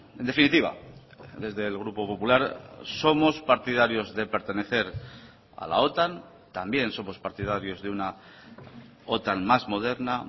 en definitiva desde el grupo popular somos partidarios de pertenecer a la otan también somos partidarios de una otan más moderna